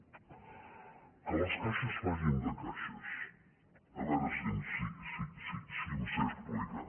que les caixes facin de caixes a veure si em sé explicar